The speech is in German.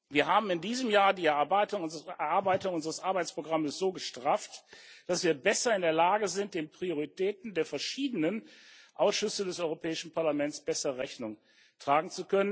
Wir haben in diesem Jahr die Erarbeitung unseres Arbeitsprogramms so gestrafft, dass wir in der Lage sind, den Prioritäten der verschiedenen Ausschüsse des Europäischen Parlaments besser Rechnung zu tragen.